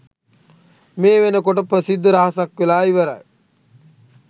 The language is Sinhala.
මේ වෙනකොට ප්‍රසිද්ධ රහසක් වෙලා ඉවරයි.